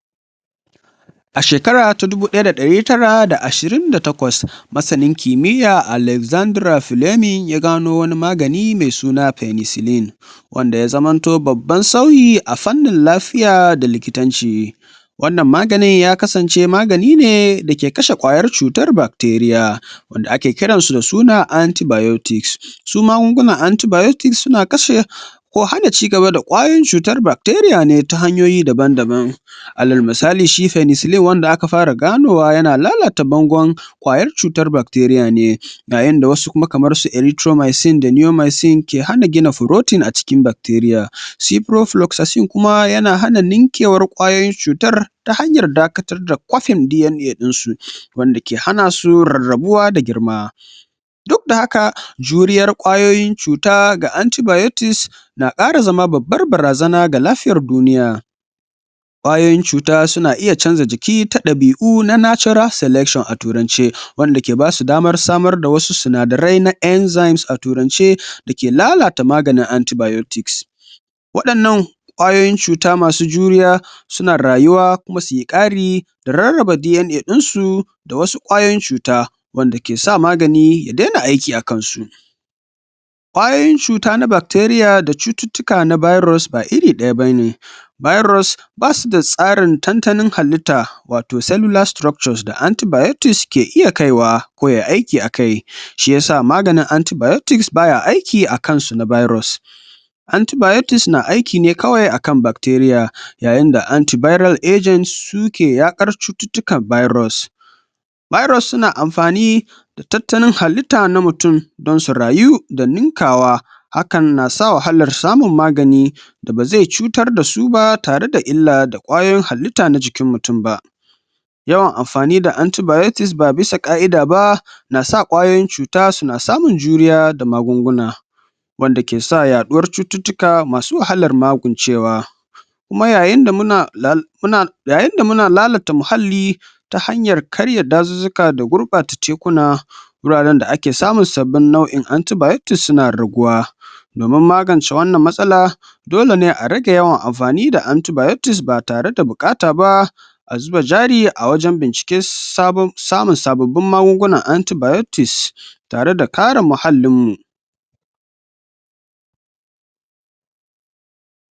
a shekara ta dubu daya da dari tara da ashirin da takwas masanin kimiyya alexandra plemin ya gano wani magani me suna penecilin wanda ya zaman to babban sauyi a fannin lafiya da likitanci wannan maganin ya kasance maganine dake kashe kwayar cutar bacteria wanda ake kiransu da suna antybiotic su magungunan antybiotic suna kashe ko hana cigaba da kwayoyin cutar bacteria ne ta hanyoyi daban daban alalmisali shi penecilin wanda aka fara ganowa yana lalata bangon kwayar cutar bacteria ne ga yanda wasu kuma kamar su eritromycine da niomycine ke hana gina protein a cikin bacteria ciprofloxacine kuma yana hana ninkewar kwayoyin cutar ta hanyar dakatar da kofin DNA dinnsu wanda ke hana su rabuwa da girma duk da haka juriyar kwayoyin cuta ga antybiotics na kara zama babbar barazana ga lafiyar duniya kwayoyin cuta na iya canza jiki ta tabi'u na natural selection a turance wanda ke basu damar samar da wasu sinadarai enzymes a turance dake lalata maganin antybiotics wadannan kwayoyin cuta masu juriya suna rayuwa kuma suyikari da rarrab DNA dinsu da wasu kwayoyin cuta wanda kesa magani ya dena aiki a kansu kwayoyin cuta na bacteria da cututtika na virus ba iri daya bane virus basu da tantanin halitta wato celluler structures da antybiotic ke iya kaiwa ko yayi aiki shiya sa maganin antybiotics baya aiki a kansu virus antybiotics na aiki ne kawai a kan bacteria yayin da anty viral agents suke yakar cututtukan virus virus suna amfani da tatanin halitta na mutum don su rayu da ninkawa hakan nasa wahalar samun magani da bazai cutar dasu ba tare da illa da kwayoyin halitta na jikin mutum ba yawan amfani da anty biotic ba bisa ka'ida ba na sa kwayoyin cuta suna samun juriya da magunguna wanda kesa yaduwar cututtuka masu wahalar magancewa kuma yayin da lal muna yayin da muna lalata mahalli ta hanyar karya dazuzzuka da gurbaata tekuna gurare da ake samun sabbin nu'in antybiotic suna raguwa domin magance wannan matsala dole ne a rage yawan amfani da anty biotic ba tare da bukata ba azuba jari a wajen bincike sabon samun sababbun magun gunan antybiotics tare da kare mahallin mu